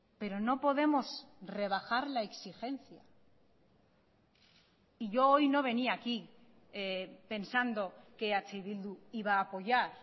pero no podemos rebajar la exigencia y yo hoy no venía aquí pensando que eh bildu iba a apoyar